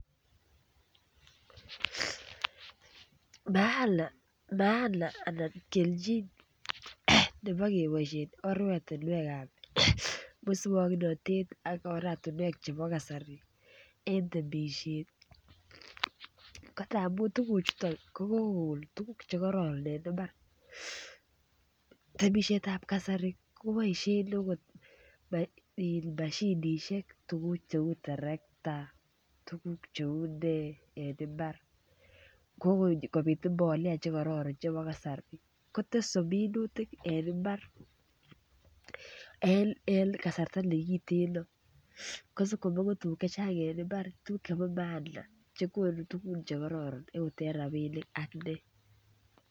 Maana anan kelchin nebo keboisien oratinwek ab moswoknatet ak oratinwek chebo kasari en temisiet ko ngamun tuguchuton ko kogon tuguk Che karoron en mbar temisiet ab kasari koboisien akot mashinisiek cheu terekta tuguk cheu ne en mbar ko kobit mbolea Che kororon chebo kasari kotese minutik en mbar en kasarta nekiten kosib komongu tuguk chechang en mbar tuguk chebo maana chegonu tuguk Che kororon okot en rabinik ak ne